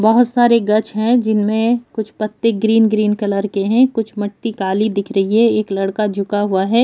बहोत सारे गच्छ है जिनमे कुछ पत्ते ग्रीन -ग्रीन कलर के है कुछ मिट्टी काली दिख रही है एक लड़का झुका हुवा है।